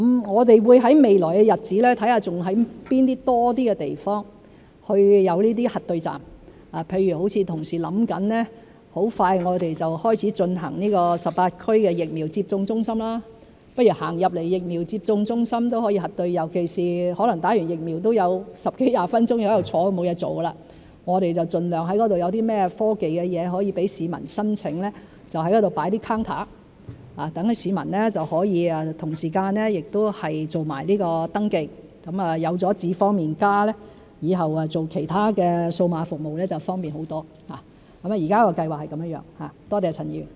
我們會在未來的日子探討在多些地方有這些核對站，譬如同事正構思在很快就開始啟用於18區的疫苗接種中心，市民走進疫苗接種中心都可以核對身份，尤其是可能在接種疫苗後會有十多二十分鐘坐着沒其他事做，我們盡量在那裏採用一些科技，讓市民申請，在那裏放一些櫃台，讓市民可以同時間做登記，有了"智方便＋"以後用其他數碼服務就會方便很多，現時的計劃是這樣，多謝陳議員。